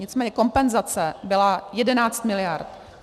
Nicméně kompenzace byla 11 miliard.